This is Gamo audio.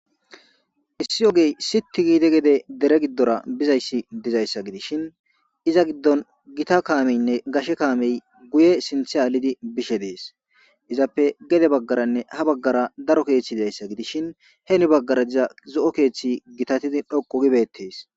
issi ogey sitti giide gede dere giddora bizayssi dizayssa gidishin iza giddon gita kaameynne gashe kaamey guye sinthe alidi bishe dees izappe gede baggaranne ha baggara daro keeththi bizayssa gidishin heemi baggara diza zo7o keeththi gitatidi dhoqu gibettees